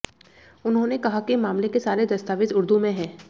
उन्होंने कहा कि मामले के सारे दस्तावेज उर्दू में हैं